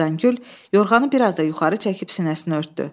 Xəzəngül yorğanı bir az da yuxarı çəkib sinəsini örtdü.